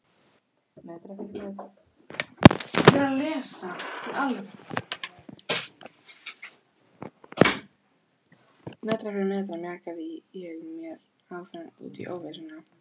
Metra fyrir metra mjakaði ég mér áfram út í óvissuna.